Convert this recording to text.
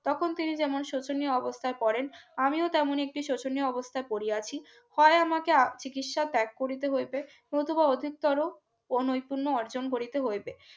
তখন তিনি যেমন শোচনীয় অবস্থায় পড়েন আমিও তেমন একটি শোচনীয় অবস্থায় পড়িয়াছি হয় আমাকে চিকিৎসা ত্যাগ করতে হইবে নতুবা অধিকতর কোনই পূর্ণ অর্জন করিতে হইবে